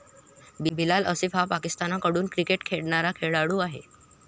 बिलाल असिफ हा पाकिस्तानकडून क्रिकेट खेळणारा खेळाडू आहे.